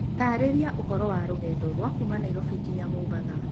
ũtaarĩria ũhoro wa rũgendo rwa kuuma Nairobi nginya mombatha